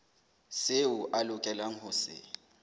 seo a lokelang ho se